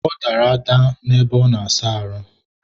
ọ dara ada ebe ọ na-asa ahụ.